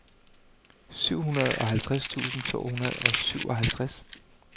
syvoghalvtreds tusind to hundrede og syvoghalvtreds